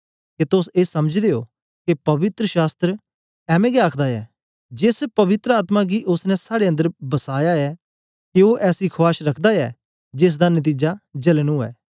के तोस ए समझदे ओ के पवित्र शास्त्र ऐंमें गै आखदा ऐ जेस पवित्र आत्मा गी ओसने साड़े अन्दर बसाया ऐ के ओ ऐसी खुआश रखदा ऐ जेसदा नतीजा जलन उवै